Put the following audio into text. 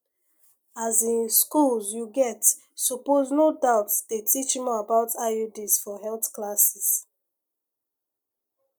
as in schools you get supposed no doubt dey teach more about iuds for health classes